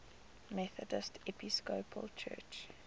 methodist episcopal church